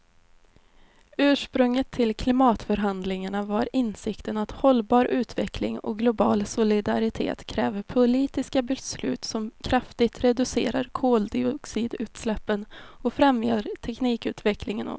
Ursprunget till klimatförhandlingarna var insikten att hållbar utveckling och global solidaritet kräver politiska beslut som kraftigt reducerar koldioxidutsläppen och främjar teknikutveckling och ändrad livsstil.